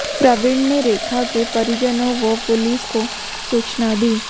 प्रवीन ने रेखा के परिजनों व पुलिस को सूचना दी